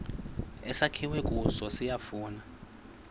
esakhiwe kuso siyafana